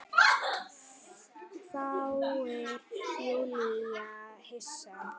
hváir Júlía hissa.